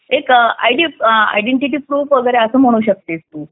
एक ID identity proof वगैरे असं म्हणू शकतेस तू